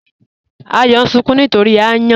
Àyọ̀ n sunkùn nítorí ayàn.